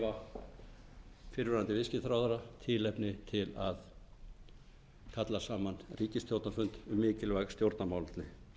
gefa fyrrverandi viðskiptaráðherra tilefni til að kalla saman ríkisstjórnarfund um mikilvæg stjórnarmálefni